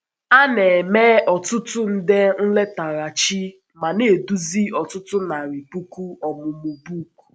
A na - eme ọtụtụ nde nletaghachi ma na - eduzi ọtụtụ narị puku ọmụmụ book.